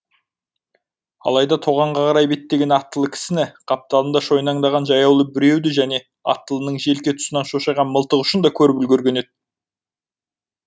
алайда тоғанға қарай беттеген аттылы кісіні қапталында шойнаңдаған жаяулы біреуді және аттылының желке тұсынан шошайған мылтық ұшын да көріп үлгерген еді